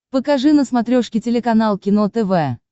покажи на смотрешке телеканал кино тв